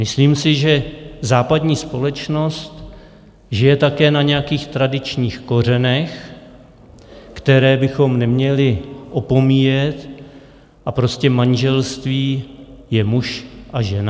Myslím si, že západní společnost žije také na nějakých tradičních kořenech, které bychom neměli opomíjet, a prostě manželství je muž a žena.